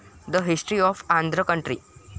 The history of Andhra country.